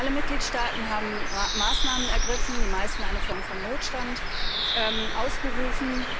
Alle Mitgliedstaaten haben Maßnahmen ergriffen, die meisten eine Form von Notstand ausgerufen.